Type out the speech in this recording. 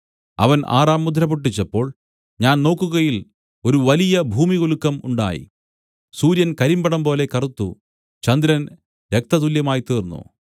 അവൻ ആറാം മുദ്ര പൊട്ടിച്ചപ്പോൾ ഞാൻ നോക്കുകയിൽ ഒരു വലിയ ഭൂമികുലുക്കം ഉണ്ടായി സൂര്യൻ കരിമ്പടംപോലെ കറുത്തു ചന്ദ്രൻ രക്തതുല്യമായിത്തീർന്നു